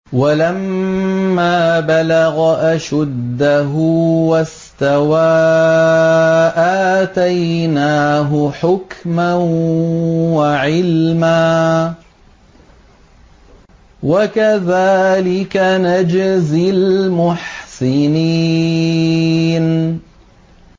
وَلَمَّا بَلَغَ أَشُدَّهُ وَاسْتَوَىٰ آتَيْنَاهُ حُكْمًا وَعِلْمًا ۚ وَكَذَٰلِكَ نَجْزِي الْمُحْسِنِينَ